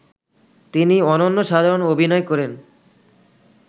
তিনি অনন্য সাধারণ অভিনয় করেন